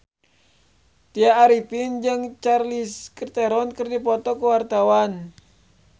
Tya Arifin jeung Charlize Theron keur dipoto ku wartawan